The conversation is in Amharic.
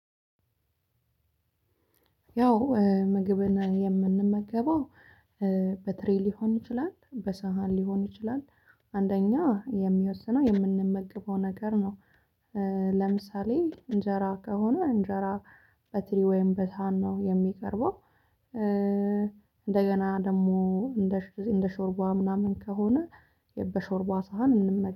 ያው እ ምግብን የምንመገበው በትሬ ሊሆን ይችላል በሳህን ሊሆን ይችላል። አንደኛ የሚወስነው የምንመገበው ነገር ነው። ለምሳሌ እንጀራ ከሆነ እንጀራ በትሪ ወይም በሳህን ነው የሚቀርበው። እእ እንደገና ደግሞ እንደሸ እንደ ሾርባ ምናምን ከሆነ። በሾርባ ሳህን እንመገ